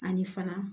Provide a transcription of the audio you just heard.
Ani fana